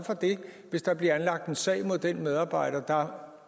hvis der bliver anlagt sag mod den medarbejder der